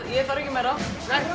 ég þarf ekki meira